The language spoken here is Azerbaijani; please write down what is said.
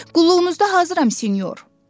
Qulluğunuzda hazıram, senyor.